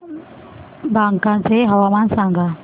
बांका चे हवामान सांगा